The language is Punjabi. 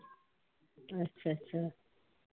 ਅੱਛਾ।